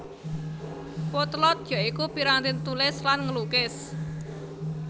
Potlot ya iku piranti tulis lan nglukis